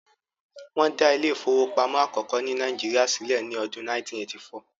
wón da Ilé ìfowópamọ́ akoko ni Naijiria silẹ ni Ọdun 1984